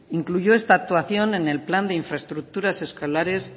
incluyó esta actuación en el plan de infraestructuras escolares